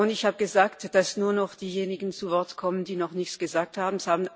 Ich habe gesagt, dass nur noch diejenigen zu Wort kommen, die noch nicht gesprochen haben.